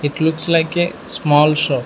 it looks like a small shop.